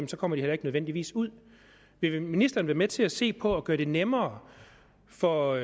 kommer de heller ikke nødvendigvis ud vil ministeren være med til at se på at gøre det nemmere for